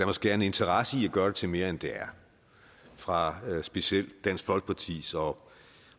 måske er en interesse i at gøre det til mere end det er fra specielt dansk folkepartis og